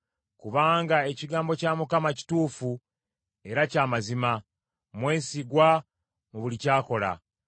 Kubanga ekigambo kya Mukama kituufu era kya mazima; mwesigwa mu buli ky’akola.